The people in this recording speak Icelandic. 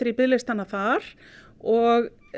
í biðlistana þar og